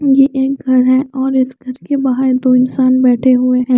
ये एक घर है और इस घर के बाहर दो इंसान बैठे हुए हैं।